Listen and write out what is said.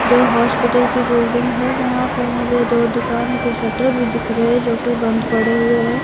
जो हॉस्पिटल की बिल्डिंग है जहां पर मुझे दो दुकान के शटर भी दिख रहे जो कि बंद पड़े हुए हैं।